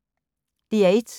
DR1